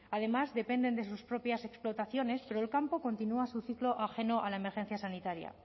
además dependen de sus propias explotaciones pero el campo continúa su ciclo ajeno a la emergencia sanitaria